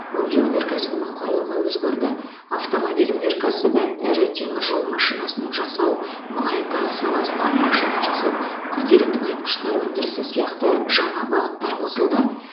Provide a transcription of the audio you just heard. өңдеу өнеркәсібінің құрылымы өзгерді автомобиль өнеркәсібі ірі темір жол машинасын жасау мұнай газ саласына машина жасау күрделі тыңайтқыштар өндірісі сияқты жаңа бағыттар қосылды